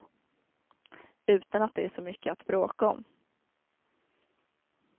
Utan att det är så mycket att bråka om.